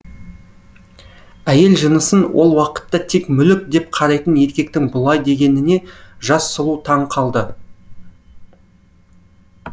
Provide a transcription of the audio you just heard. әйел жынысын ол уақытта тек мүлік деп қарайтын еркектің бұлай дегеніне жас сұлу таң қалды